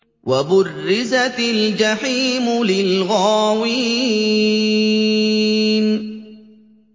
وَبُرِّزَتِ الْجَحِيمُ لِلْغَاوِينَ